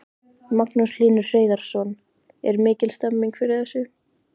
Magnús Hlynur Hreiðarsson: Er mikil stemning fyrir þessu?